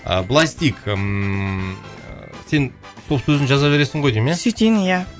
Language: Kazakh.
ы былай істейік ммм ы сен стоп сөзін жаза бересің ғой деймін иә сөйтейін иә